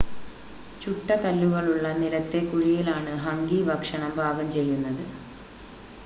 ചുട്ട കല്ലുകളുള്ള നിലത്തെ കുഴിയിൽ ആണ് ഹംഗി ഭക്ഷണം പാകം ചെയ്യുന്നത്